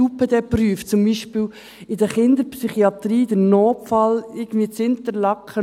Die Universitären Psychiatrischen Dienste Bern (UPD) prüfen zum Beispiel in der Kinderpsychiatrie den Notfall in Interlaken.